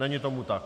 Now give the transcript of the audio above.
Není tomu tak.